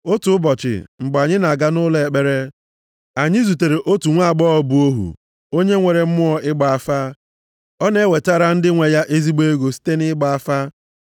Otu ụbọchị, mgbe anyị na-aga nʼụlọ ekpere, anyị zutere otu nwaagbọghọ bụ ohu, onye nwere mmụọ ịgba afa. Ọ na-ewetara ndị nwe ya ezigbo ego site nʼịgba afa.